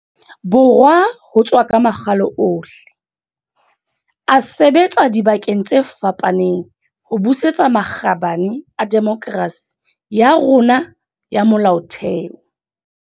Borwa ho tswa ka makgalo ohle, a sebetsa dibakeng tse fapaneng ho busetsa makgabane a demokerasi ya rona ya molaotheo.